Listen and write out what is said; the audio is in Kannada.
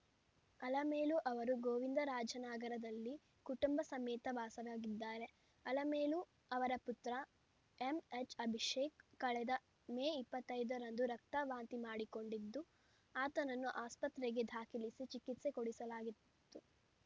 ಅಲಮೇಲು ಅವರು ಗೋವಿಂದರಾಜನಗರದಲ್ಲಿ ಕುಟುಂಬ ಸಮೇತ ವಾಸವಾಗಿದ್ದಾರೆ ಅಲಮೇಲು ಅವರ ಪುತ್ರ ಎಮ್‌ಎಚ್‌ಅಭಿಷೇಕ್‌ ಕಳೆದ ಮೇ ಇಪ್ಪತ್ತೈದರಂದು ರಕ್ತದ ವಾಂತಿ ಮಾಡಿಕೊಂಡಿದ್ದು ಆತನನ್ನು ಆಸ್ಪತ್ರೆಗೆ ದಾಖಲಿಸಿ ಚಿಕಿತ್ಸೆ ಕೊಡಿಸಲಾಗಿತ್ತು